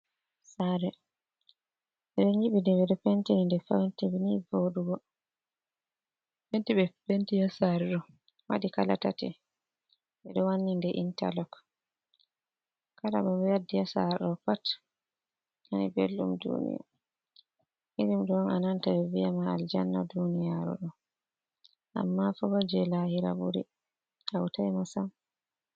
Saare, ɓe ɗo nyiɓi nde, ɓe ɗo penti nde be penti ni vooɗugo, penti ɓe penti nde waɗi kala tati, ɓe ɗo wanni nde intalok, kala mo ɓe waddi haa saare ɗo pat nani belɗum, irin ɗo on a nanata ɓe viyama aljanna duuniyaaru, amma foba jey laahira ɓuri hawtay ma sam.